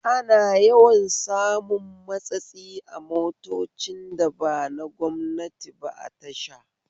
Ana yawan samun matsatsi a motocin da ba na gwamnati ba a tasha